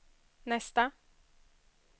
nästa